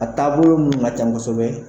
A taabolo muw ka ca kosɛbɛ